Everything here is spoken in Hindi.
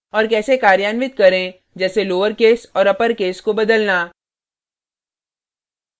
और case कार्यान्वित करें जैसे लोउरेकस और अपरकेस को बदलना